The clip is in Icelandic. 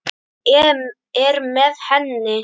Er með henni.